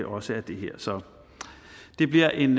også er det her så det bliver en